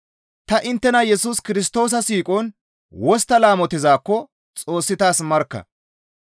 Ta inttena Yesus Kirstoosa siiqon wostta laamotizaakko Xoossi taas markka.